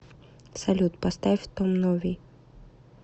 салют поставь том нови